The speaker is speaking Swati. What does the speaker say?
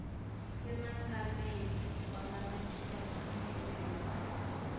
umengameli wemajaji aseningizimu